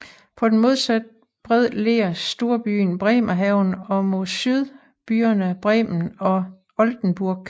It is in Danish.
På den modsatte bred ligger storbyen Bremerhaven og mod syd byerne Bremen og Oldenburg